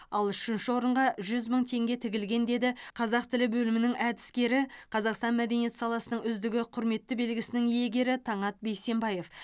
ал үшінші орынға жүз мың теңге тігілген деді қазақ тілі бөлімінің әдіскері қазақстан мәдениет саласының үздігі құрметті белгісінің иегері таңат бейсенбаев